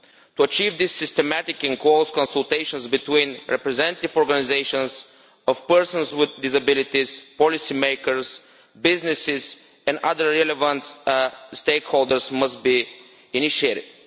To achieve this, systematic and close consultations between representative organizations of persons with disabilities, policy makers, businesses and other relevant stakeholders must be initiated.